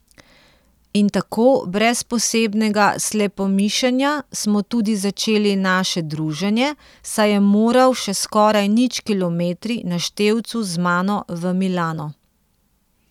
In tako, brez posebnega slepomišenja, smo tudi začeli naše druženje, saj je moral še s skoraj nič kilometri na števcu z mano v Milano.